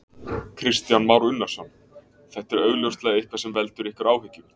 Kristján Már Unnarsson: Þetta er augljóslega eitthvað sem veldur ykkur áhyggjum?